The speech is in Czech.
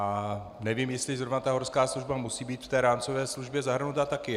A nevím, jestli zrovna ta horská služba musí být v té rámcové smlouvě zahrnuta taky.